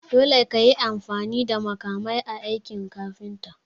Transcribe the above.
Dole kayi amfani da makamai a aikin kafinta.